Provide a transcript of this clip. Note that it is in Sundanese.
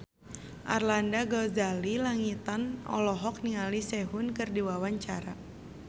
Arlanda Ghazali Langitan olohok ningali Sehun keur diwawancara